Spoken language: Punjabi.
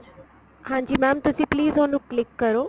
ਹਾਂਜੀ mam ਤੁਸੀਂ please ਉਹਨੂੰ click ਕਰੋ